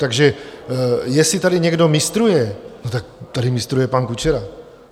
Takže jestli tady někdo mistruje, tak tady mistruje pan Kučera.